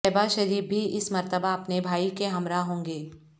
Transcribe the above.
شہباز شریف بھی اس مرتبہ اپنے بھائی کے ہمراہ ہوں گے